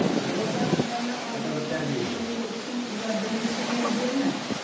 ол дағы жаңағы істеген ісін иә білгісі келгені